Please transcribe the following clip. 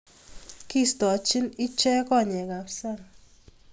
Kiistochin ichek konyekab sang